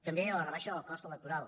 també la rebaixa del cost electoral